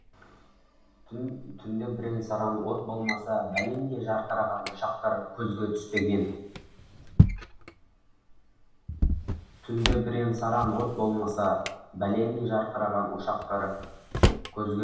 түнде бірен саран от болмаса бәлендей жарқыраған ошақтар көзге түспеген түнде бірен саран от болмаса бәлендей жарқыраған ошақтар көзге